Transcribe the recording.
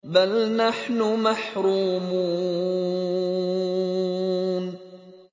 بَلْ نَحْنُ مَحْرُومُونَ